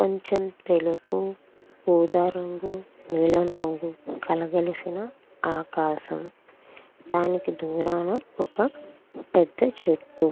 కొంచెం తెలుపు ఊదా రంగు నీలం రంగు కలగలిసిన ఆకాశం దానికి దూరాన ఒక పెద్ద చెట్టు.